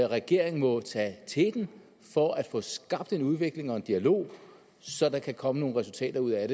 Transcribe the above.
regeringen må tage teten for at få skabt en udvikling og en dialog så der kan komme nogle resultater ud af